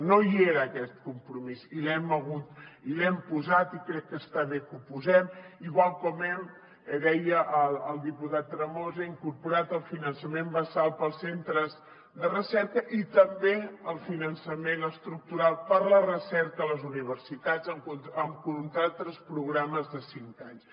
no hi era aquest compromís i l’hem posat i crec que està bé que ho posem igual com hem deia el diputat tremosa incorporat el finançament basal per als centres de recerca i també el finançament estructural per a la recerca a les universitats amb contractes programes de cinc anys